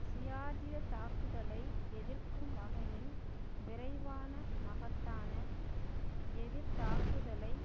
ஜியார்ஜிய தாக்குதலை எதிர்க்கும் வகையில் விரைவான மகத்தான எதிர்த்தாக்குதலை